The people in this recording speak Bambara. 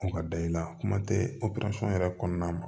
O ka da i la kuma tɛ yɛrɛ kɔnɔna ma